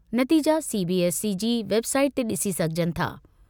नतीजा सीबीएसई जी वेबसाइट ते डि॒सी सघिजनि था।